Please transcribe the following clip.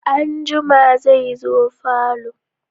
Anjima zai zo falo.